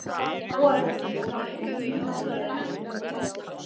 Boði: Það var enginn í húsinu þegar eldurinn kom upp?